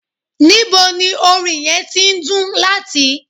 Nibo ni orin yẹn ti ndun lati?